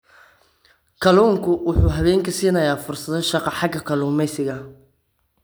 Kalluunku waxa uu haweenka siinayaa fursado shaqo xagga kalluumaysiga.